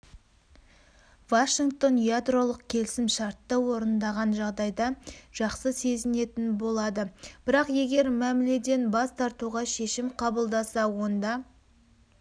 вашингтон ядролық келісімшартты орындаған жағдайда жақсы сезінетін болады бірақ егер мәміледен бас тартуға шешім қабылдаса онда